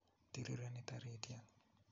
tirireni tarityet